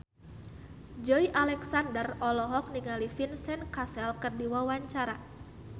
Joey Alexander olohok ningali Vincent Cassel keur diwawancara